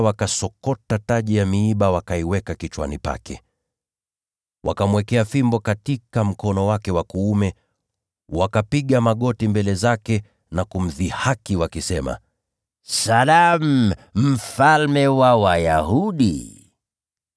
wakasokota taji ya miiba, wakaiweka kichwani pake. Wakamwekea fimbo katika mkono wake wa kuume, na wakapiga magoti mbele zake na kumdhihaki, wakisema, “Salamu, mfalme wa Wayahudi!”